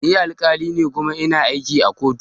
Ni alkali ne kuma ina aiki a kotu